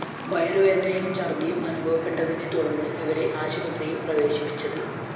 വയറുവേദനയും ഛര്‍ദിയും അനുഭവപ്പെട്ടതിനെ തുടര്‍ന്ന് ഇവരെ ആശുപത്രിയില്‍ പ്രവേശിപ്പിച്ചത്